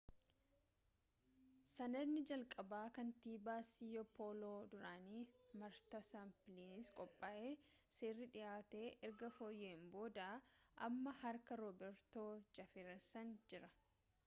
sanadni jalqabaa kantiibaa siyoo pooloo duraanii maartaa sappiliisiin qophaa'e seerri dhihaate erga fooyya'een booda amma harka roobertoo jaafersan jira